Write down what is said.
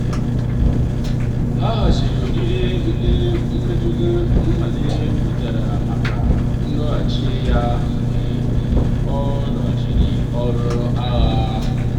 ha haziri oriri ndi mmadu niile wetara maka nlọghachi ya mgbe um ọ rụchara ọrụ agha.